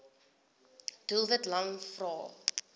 doelwit lang vrae